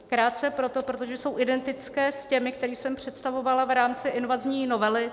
Krátce proto, protože jsou identické s těmi, které jsem přestavovala v rámci invazní novely.